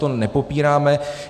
To nepopíráme.